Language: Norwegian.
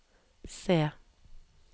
C